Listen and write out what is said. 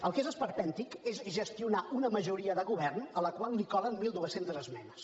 el que és esperpèntic és gestionar una majoria de govern a la qual li colen mil dos cents esmenes